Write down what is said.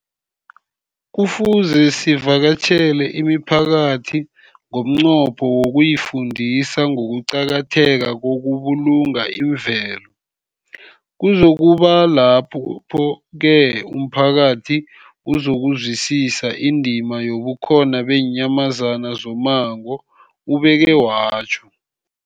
Kufuze sivakatjhele imiphakathi ngomnqopho wokuyifundisa ngokuqakatheka kokubulunga imvelo. Kuzoku ba kulapho-ke umphakathi uzokuzwisisa indima yobukhona beenyamazana zommango, ubeke watjho.